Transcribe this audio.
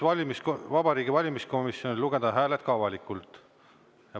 Palun siis Vabariigi Valimiskomisjonil lugeda hääled ka avalikult.